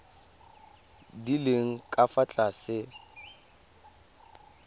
di leng ka fa tlase